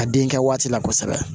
A denkɛ waati la kosɛbɛ